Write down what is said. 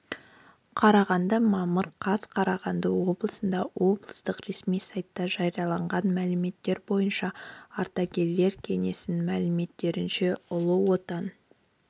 қарағанды мамыр қаз қарағанды облысында облыстық ресми сайтта жарияланған мәліметтер бойынша ардагерлер кеңесінің мәліметінше ұлы отан